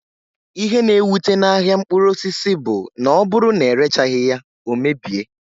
Ihe na ewute n'ahia mkpụrụ osisi bụ na ọbụrụ na erechaghi ya, ọ mebie